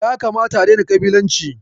Ya kamata a daina ƙabilanci.